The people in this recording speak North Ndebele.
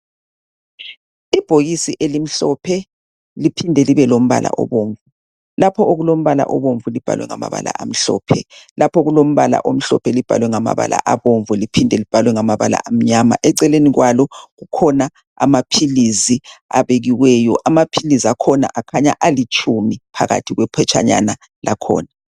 Ibhokisi elimhlophe liphinde libe lombala obomvu. Lapho okulombala obomvu libhalwe ngamabala amhlophe lapho okulombala amhlophe libhalweabomvu liphinde libhalwe ngamabala amnyama. Eceleni kwalo kukhona amaphilizi abekiweyo. Amaphilizi akhona akhanya alitshumi phakathi kwephetshanyana lakhona.